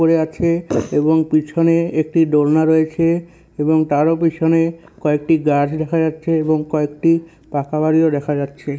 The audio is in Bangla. পড়ে আছে এবং পিছনে একটি দোলনা রয়েছে এবং তারও পিছনে কয়েকটি গাছ দেখা যাচ্ছে এবং কয়েকটি পাকা বাড়িও দেখা যাচ্ছে।